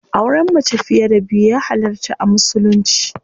Auren mace fiye da biyu ya halarta a musulunci.